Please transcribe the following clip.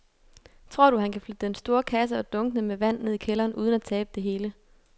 Tror du, at han kan flytte den store kasse og dunkene med vand ned i kælderen uden at tabe det hele?